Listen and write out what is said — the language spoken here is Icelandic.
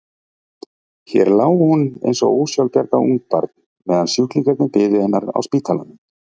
Hér lá hún eins og ósjálfbjarga ungbarn meðan sjúklingarnir biðu hennar á spítalanum.